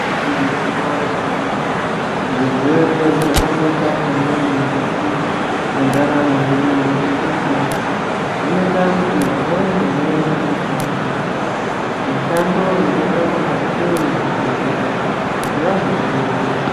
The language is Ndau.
Igwinyiso yemene mene zvirwere zvakakosha maningi mukati mendaramo yedu ngekuti zvinoita kuti vamweni vaende kumushando. Mushando iyi yakaita kungatei zvibhedhleya kuti vazotidetsera